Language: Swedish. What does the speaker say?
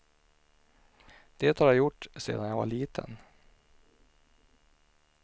Det har jag gjort sedan jag var liten.